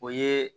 O ye